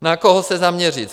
Na koho se zaměřit.